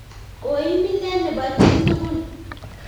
koib milee nebo chitugul